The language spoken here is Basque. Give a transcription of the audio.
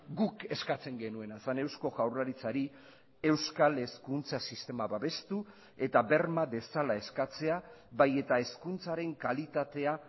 guk eskatzen genuena zen eusko jaurlaritzari euskal hezkuntza sistema babestu eta berma dezala eskatzea bai eta hezkuntzaren kalitatea